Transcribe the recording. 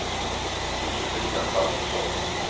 Josefina Svantesson